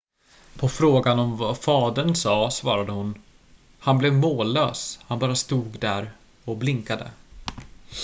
"på frågan om vad fadern sa svarade hon: "han blev mållös - han bara stod där och blinkade.""